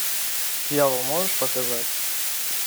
дьявол можешь показать